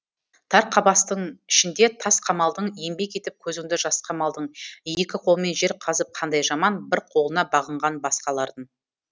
тар қапастың ішінде тас қамалдың еңбек етіп көзіңді жасқа малдың екі қолмен жер қазып қандай жаман бір қолына бағынған басқалардың